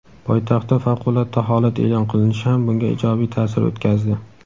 Poytaxtda favqulodda holat e’lon qilinishi ham bunga ijobiy ta’sir o‘tkazdi.